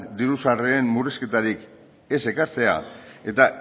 diru sarreren murrizketarik ez ekartzea eta